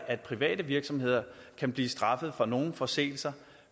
at private virksomheder kan blive straffet for nogle forseelser